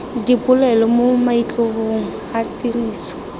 dipolelo mo maitlhomong a tiriso